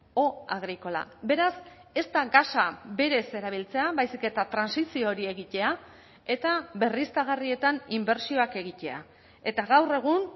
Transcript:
o agrícola beraz ez da gasa berez erabiltzea baizik eta trantsizio hori egitea eta berriztagarrietan inbertsioak egitea eta gaur egun